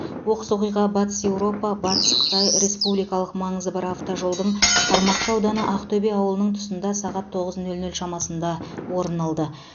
оқыс оқиға батыс еуропа батыс қытай республикалық маңызы бар автожолдың қармақшы ауданы ақтөбе ауылының тұсында сағат тоғыз нөл нөл шамасында орын алды